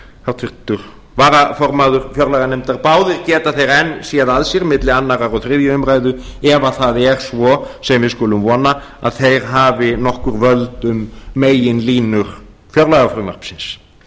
háttvirtur varaformaður fjárlaganefndar báðir geta þeir enn séð að sér milli annars og þriðju umræðu ef það er svo sem við skulum vona að þeir hafi nokkur völd um meginlínur fjárlagafrumvarpsins